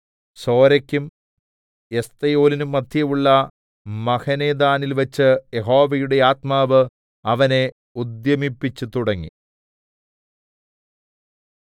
സോരെക്കും എസ്തായോലിന്നും മദ്ധ്യേയുള്ള മഹനേദാനിൽ വെച്ച് യഹോവയുടെ ആത്മാവ് അവനെ ഉദ്യമിപ്പിച്ചു തുടങ്ങി